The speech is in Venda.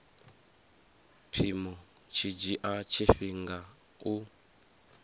mpimo tshi dzhia tshifhinga u